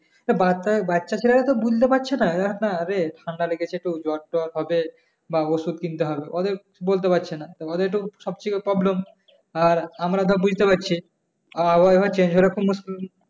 তা বাচ্চা বাচ্ছা-ছেলারা তো বুঝতে পারছে না, না রে ঠান্ডা লেগেছে তো জ্বর-টঢ় হবে বা ঔষধ কিনতে হবে ওদের বলতে পারছে না। তা ওদের একটু সব থেকে problem আমরা ধর বুঝতে পারছি। আর ওইভাবে